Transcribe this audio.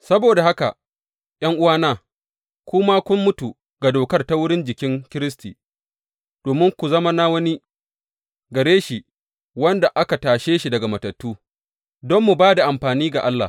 Saboda haka ’yan’uwana, ku ma kun mutu ga dokar ta wurin jikin Kiristi, domin ku zama na wani, gare shi wanda aka tashe shi daga matattu, don mu ba da amfani ga Allah.